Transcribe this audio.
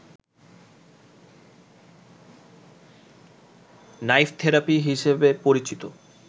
knife therapy হিসেবে পরিচিত